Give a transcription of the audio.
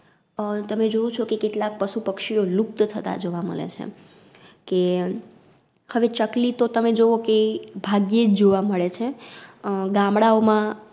અ તમે જોવો છો કે કેટલાક પશુપક્ષીઓ લુપ્ત થતાં જોવા મલે છે. કે, હવે ચકલી તો તમે જોવો કે, ભાગ્યેજ જોવા મળે છે. અ ગામડાઓ માં